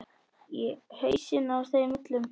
Í hausana á þeim öllum.